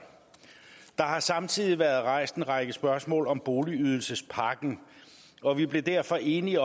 der har samtidig været rejst en række spørgsmål om boligydelsespakken og vi blev derfor enige